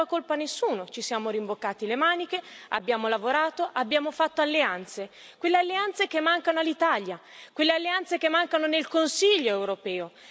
scaricato la colpa nessuno, ci siamo rimboccati le maniche, abbiamo lavorato, abbiamo fatto alleanze, quelle alleanze che mancano all'Italia, quelle alleanze che mancano nel Consiglio europeo.